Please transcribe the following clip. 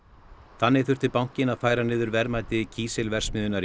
þannig þurfti bankinn að færa niður verðmæti kísilverksmiðjunnar í